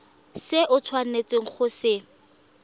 se o tshwanetseng go se